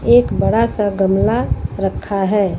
एक बड़ा सा गमला रखा है।